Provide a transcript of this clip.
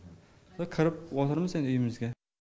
кіріп отырмыз енді үйімізге